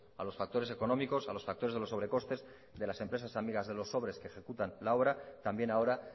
a los factores económicos a los factores de los sobre costes de las empresas amigas de los sobres que ejecutan la obra también ahora